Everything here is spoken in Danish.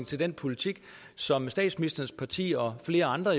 til den politik som statsministerens parti og flere andre